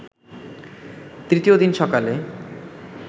তৃতীয় দিন সকালে